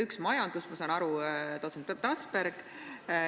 Üks on majandus – ma saan aru, et see jääb Trasbergile.